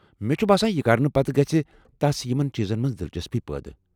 مےٚ چھ باسان یہ کرنہٕ پتہٕ گژھِ تس یمن چیٖزن منز دلچسپی پٲدٕ۔